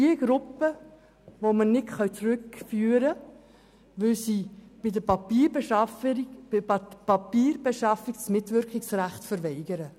Diese Personen können wir nicht zurückführen, weil sie bei der Papierbeschaffung die Mitwirkungspflicht verweigern.